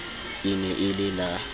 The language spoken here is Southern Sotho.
e ne e le la